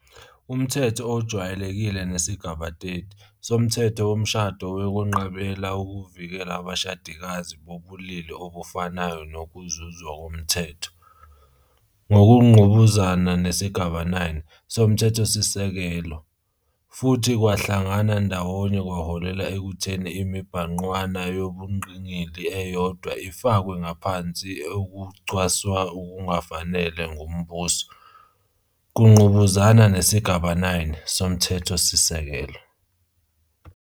Umthetho ojwayelekile nesigaba 30, 1, soMthetho Womshado wakwenqabela ukuvikela abashadikazi bobulili obufanayo nokuzuzwa komthetho, ngokungqubuzana nesigaba 9, 1, soMthethosisekelo, futhi kwahlangana ndawonye kwaholela ekutheni imibhangqwana yobungqingili eyodwa ifakwe ngaphansi ukucwaswa okungafanele nguMbuso, kungqubuzana nesigaba 9, 3, soMthethosisekelo.